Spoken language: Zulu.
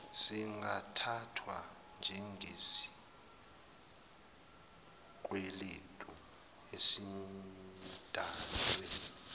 singathathwa njengesikweletu esidalwe